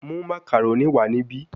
Mu macaroni wa nibi